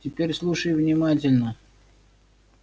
теперь слушай внимательно